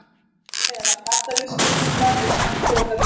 Þar á meðal gaddavírsgirðingar og sandpokavígi.